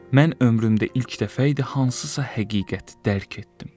Mən ömrümdə ilk dəfə idi hansısa həqiqəti dərk etdim.